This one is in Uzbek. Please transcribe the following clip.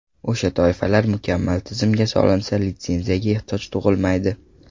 O‘sha toifalar mukammal tizimga solinsa, litsenziyaga ehtiyoj tug‘ilmaydi.